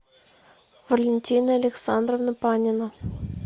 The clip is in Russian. валентина александровна панина